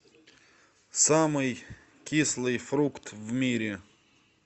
самый кислый фрукт в мире